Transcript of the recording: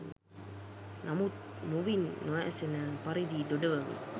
නමුත් මුවින් නොඇසෙන පරිදි දොඩවමින්